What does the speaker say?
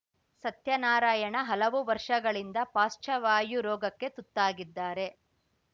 ಸತ್ಯನಾರಾಯಣ ಹಲವು ವರ್ಷಗಳಿಂದ ಪಾರ್ಶ್ಚವಾಯು ರೋಗಕ್ಕೆ ತುತ್ತಾಗಿದ್ದಾರೆ